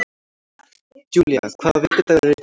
Julia, hvaða vikudagur er í dag?